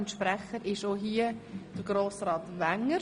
Kommissionssprecher ist auch hier Grossrat Wenger.